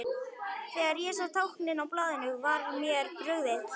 Þegar ég sá táknin á blaðinu var mér brugðið.